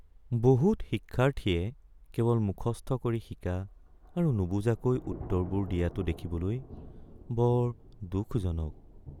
বহুত শিক্ষাৰ্থীয়ে কেৱল মুখস্থ কৰি শিকা আৰু নুবুজাকৈ উত্তৰবোৰ দিয়াটো দেখিবলৈ বৰ দুখজনক।